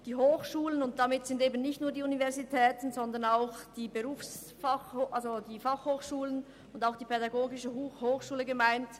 Die Hochschulen sind Leuchttürme in der Bildungspolitik, und damit ist nicht nur die Universität gemeint, sondern auch die Berner Fachhochschule (BFH) und die PH Bern.